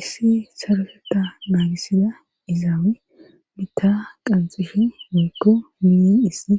Issi sarofetta naagisida izaawe mita qanxifi miikko miyen issi